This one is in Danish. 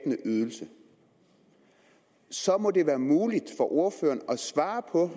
ydelse så må det være muligt for ordføreren at svare på